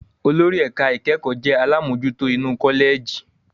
Olórí ẹ̀ka ìkẹ́kọ̀ọ́ jẹ́ àlámojutó inú kọ́lẹ̀jì.